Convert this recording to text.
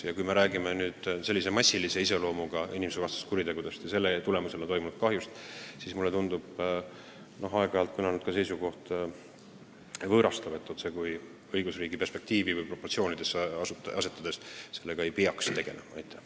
Ja kui me räägime sellistest massilise iseloomuga inimsusvastastest kuritegudest ja nende tagajärjel tekitatud kahjust, siis mulle tundub võõrastav seisukoht, et on perspektiivitu sellega tegeleda.